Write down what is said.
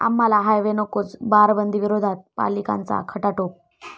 आम्हाला हायवे नकोच!, बारबंदीविरोधात पालिकांचा खटाटोप